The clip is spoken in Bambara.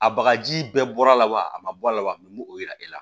A bagaji bɛɛ bɔra a la wa a ma bɔ a la wa min m'o o yira e la